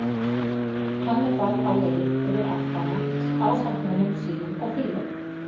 Hannibal á leið yfir Alpana ásamt mönnum sínum og fílum.